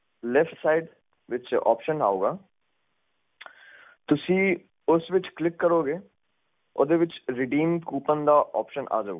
lift side ਵਿੱਚ option ਵਿੱਚ ਆਊਂਗਾ ਤੁਸੀਂ ਉਸ ਵਿੱਚ ਕਲਿਕ ਕਰੋਗੇ ਓਦੇ ਵਿੱਚ ਰਡੀਮ ਕੁਪੋਨ ਦਾ ਓਪਸ਼ਨ ਆ ਜਾਊਂਗਾ ਤੁਸੀਂ ਉਸ ਵਿੱਚ ਕਲਿਕ ਕਰਨ ਤੇ ਆ